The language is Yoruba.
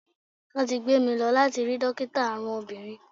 Wón ti gbé mi lọ láti rí dókítà àrùn obìnrin.